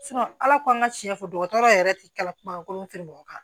ala ko an ka tiɲɛ fɔ dɔgɔtɔrɔ yɛrɛ tɛ kala kuma ko tɛ mɔgɔ mɔgɔ kan